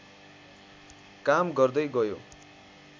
काम गर्दै गयो